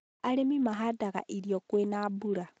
arĩmi mahandaga irio kwĩ na mbura.